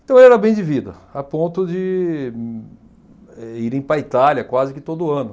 Então, era bem de vida, a ponto de, eh, irem para a Itália quase que todo ano.